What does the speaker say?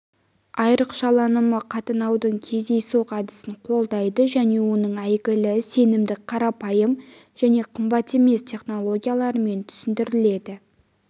айрықшаланымы қатынаудың кездейсоқ әдісін қолдайды және оның әйгілі сенімді қарапайым және қымбат емес технологияларымен түсіндіріледі